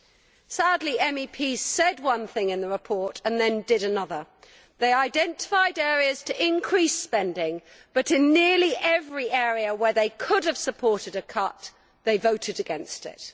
Sadly, the MEPs said one thing in the report and then did another. They identified areas to increase spending but in nearly every area where they could have supported a cut they voted against it.